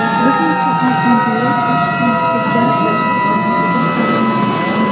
Bir necha oydan beri Toshkent pediatriya shifoxonasida davolanyapti.